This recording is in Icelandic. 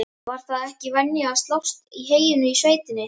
Var það ekki venja að slást í heyinu í sveitinni?